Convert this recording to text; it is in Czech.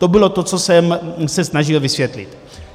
To bylo to, co jsem se snažil vysvětlit.